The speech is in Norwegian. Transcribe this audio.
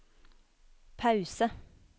pause